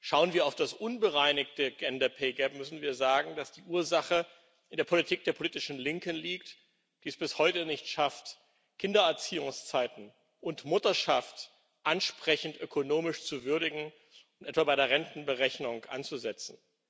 Schauen wir auf das unbereinigte gender pay gap müssen wir sagen, dass die Ursache in der Politik der politischen Linken liegt, die es bis heute nicht schafft, Kindererziehungszeiten und Mutterschaft ansprechend ökonomisch zu würdigen und etwa bei der Rentenberechnung anzusetzen.